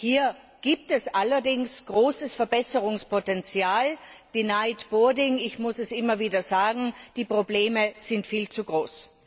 Hier gibt es allerdings großes Verbesserungspotential ich muss es immer wieder sagen die Probleme sind viel zu groß.